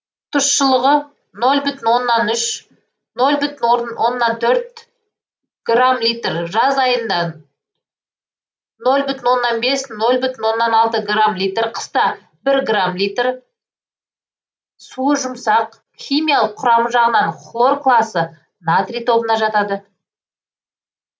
тұщылығы ноль бүтін оннан үш ноль бүтін оннан төрт грамм литр жаз айында ноль бүтін оннан бес ноль бүтін оннан алты грамм литр қыста бір грамм литр суы жұмсақ химиялық құрамы жағынан хлор класы натрий тобына жатады